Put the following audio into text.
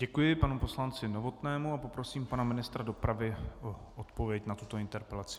Děkuji panu poslanci Novotnému a poprosím pana ministra dopravy o odpověď na tuto interpelaci.